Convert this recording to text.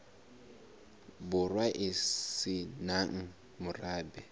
borwa e se nang morabe